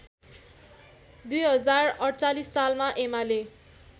२०४८ सालमा एमाले